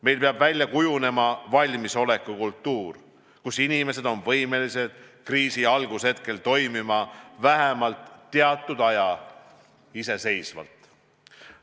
Meil peab välja kujunema valmisolekukultuur, nii et inimesed on võimelised kriisi algushetkedel toimima vähemalt teatud aja iseseisvalt.